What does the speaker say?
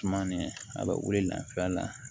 Tumani a bɛ wuli lafiya la